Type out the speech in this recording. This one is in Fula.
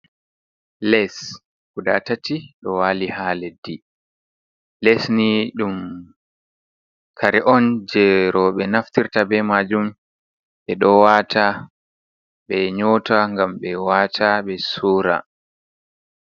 Les guda tati ɗo waali haa leddi. Les ni ɗum kare on jey rowɓe naftirta be maajum, ɓe ɗo waata ,ɓe nyoota ngam ɓe waata ɓe suura.